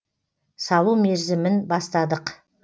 салу мерзімін бастадық